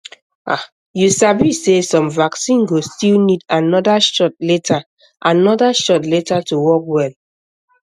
ah you sabi sey some vaccine go still need another shot later another shot later to work well um